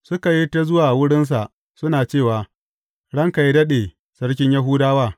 Suka yi ta zuwa wurinsa suna cewa, Ranka yă daɗe, sarkin Yahudawa!